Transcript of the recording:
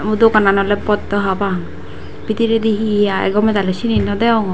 o doganan oley boddw hapang bidirey hi hi agey gomey daley seni naw deyongor.